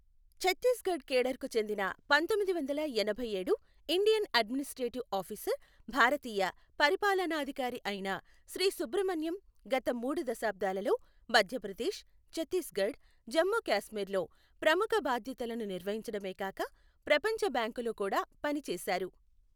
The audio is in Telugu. ఛత్తీస్గఢ్ కేడర్ కు చెందిన పంతొమ్మిది వందల ఎనభై ఏడు ఇండియన్ అడ్మినిస్ట్రేటివ్ ఆఫీసర్ భారతీయ పరిపాలనాధికారి అయిన శ్రీ సుబ్రహ్మణ్యం గత మూడు దశాబ్దాలలో మధ్యప్రదేశ్, ఛత్తీస్గఢ్, జమ్ము కాశ్మీర్లో ప్రముఖ బాధ్యతలను నిర్వహించడమే కాక ప్రపంచ బ్యాంకులో కూడా పని చేశారు.